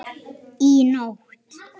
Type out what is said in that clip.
Í nótt?